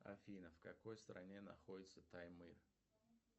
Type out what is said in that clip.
афина в какой стране находится таймыр